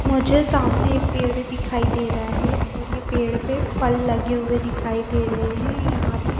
मुझे सामने एक पेड़ दिखाई दे रहा है और ये पेड़ पे फल लगे हुए दिखाई दे रहे हैं। यहां पे--